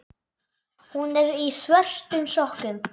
Hún er í svörtum sokkum.